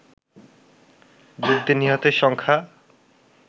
যুদ্ধে নিহতের সংখ্যা